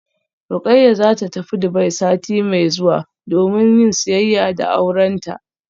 Rukayya zata tafi Dubai sati mai zuwa domin yin siyayya da aurenta